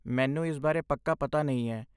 ਮੈਨੂੰ ਇਸ ਬਾਰੇ ਪੱਕਾ ਪਤਾ ਨਹੀਂ ਹੈ।